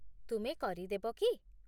ତୁମେ କରି ଦେବ କି?